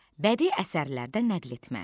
Bədii əsərlərdən nəql etmə.